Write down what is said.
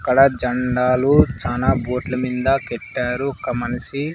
ఇక్కడ జండాలు చానా బోట్ల మింద పెట్టారు ఒక మనిషి--